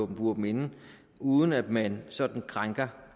bure dem inde uden at man sådan krænker